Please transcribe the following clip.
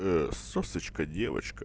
сосочка девочка